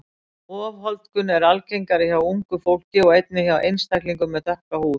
Ofholdgun er algengari hjá ungu fólki og einnig hjá einstaklingum með dökka húð.